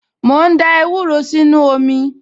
Mò ń da ewúro sínú omi